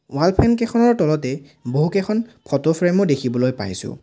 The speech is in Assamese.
ৱাল ফেন কেইখনৰ তলতেই বহুকেইখন ফটো ফ্ৰেমো দেখিবলৈ পাইছোঁ।